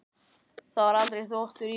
Það var aldrei þvottur í honum.